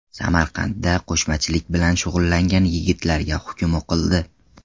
Samarqandda qo‘shmachilik bilan shug‘ullangan yigitlarga hukm o‘qildi.